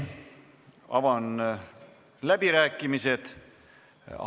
Avan läbirääkimised.